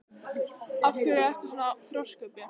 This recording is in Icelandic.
Af hverju ertu svona þrjóskur, Björt?